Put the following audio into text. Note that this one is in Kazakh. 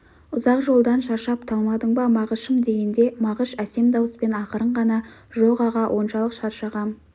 ұзақ жолдан шаршап талмадың ба мағышым дегенде мағыш әсем дауыспен ақырын ғана жоқ аға оншалық шаршағам